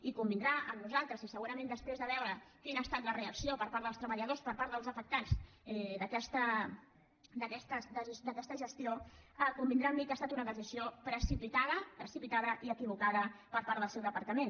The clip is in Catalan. i convindrà amb nosaltres i segurament després de veure quina ha estat la reacció per part dels treballadors per part dels afectats d’aquesta gestió convindrà amb mi que ha estat una decisió precipitada precipitada i equivocada per part del seu departament